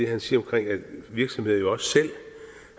han siger at virksomheder jo også selv